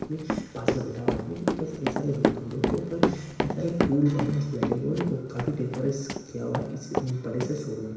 पास में बैठा हुआ आदमी की कई सारे लोग हैं लोग के ऊपर कई सारे फूल बैलून्स लगे हुए हैं और काफी डेकोरेट किया हुआ है इसी बड़े से शोरूम क--